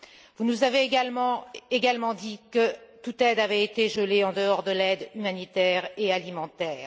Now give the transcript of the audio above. Vous nous avez également dit que toute aide avait été gelée en dehors de l'aide humanitaire et alimentaire.